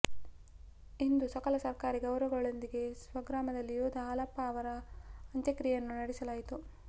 ಇಂದು ಸಕಲ ಸರ್ಕಾರಿ ಗೌರವಗಳೊಂದಿಗೆ ಸ್ವಗ್ರಾಮದಲ್ಲಿ ಯೋಧ ಹಾಲಪ್ಪ ಅವರ ಅಂತ್ಯಕ್ರಿಯೆಯನ್ನು ನಡೆಸಲಾಯಿತು